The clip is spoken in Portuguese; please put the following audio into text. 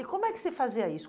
E como é que se fazia isso?